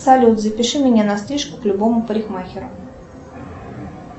салют запиши меня на стрижку к любому парикмахеру